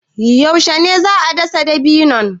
Yaushe ne za a dasa dabino?